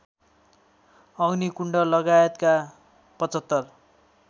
अग्निकुण्ड लगायतका ७५